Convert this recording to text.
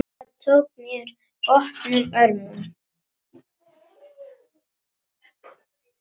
Helga tók mér opnum örmum.